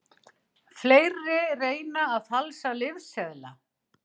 Fleiri reyna að falsa lyfseðla